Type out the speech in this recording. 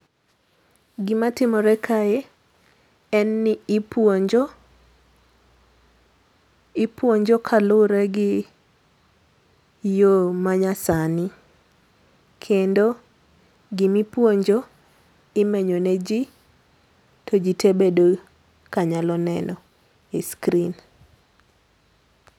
Gima timore kae en ni ipuonjo. Ipuonjo kalure gi yoo ma nya sani. Kendo gima ipuonjo imenyone ji, to ji tee bedo ka nyalo neno e screen.